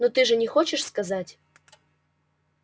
ну ты же не хочешь сказать